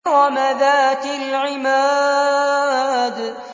إِرَمَ ذَاتِ الْعِمَادِ